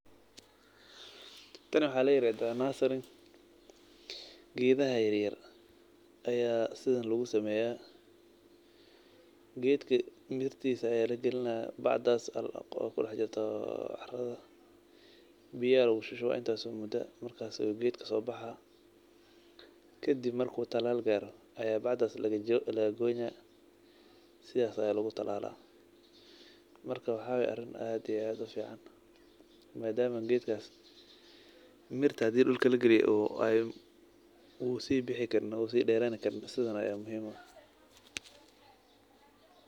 Taan waxa lairadha nursering geedha yar yar ayaa sidhan lagusameya geedka mirtisi ayaa lagilinaya bacdaas aa kudaxjirta caradha biya lagushushuwa intaas mudaa markaas aa geedka sobaxa gadib marku talaal gaaro ayaa bacdaas lagagoynaya sidas aya lagutalala marka waxawayea ariin aad iyo aad ufican maadama geedkas mirta hadii dulka lagiliyo uu sibixi karin oo sii derankarin saidhan a muhim uu ah.